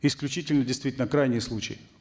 исключительный действительно крайний случай